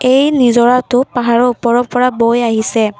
এই নিজৰাটো পাহাৰৰ ওপৰৰ পৰা বৈ আহিছে।